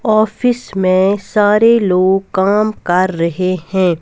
Office में सारे लोग काम कर रहे हैं.